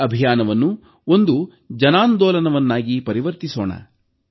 ಈ ಅಭಿಯಾನವನ್ನು ಒಂದು ಜನಾಂದೋಲನವನ್ನಾಗಿ ಪರಿವರ್ತಿಸೋಣ